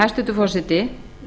hæstvirtur forseti